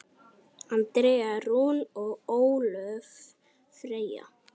Andrea Rún og Ólöf Freyja.